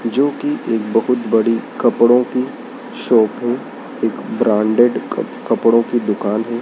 जो कि एक बहुत बड़ी कपड़ों की शॉप है एक ब्रांडेड कप कपड़ों की दुकान है।